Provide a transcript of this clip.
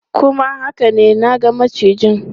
Kuma haka ne, na ga macijin.